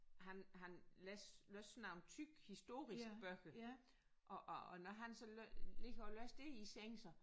Han han læs læser nogle tykke historiske bøger og og når han så ligger og læser det i sengen så